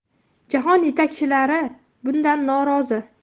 Jahon yetakchilari bundan norozi.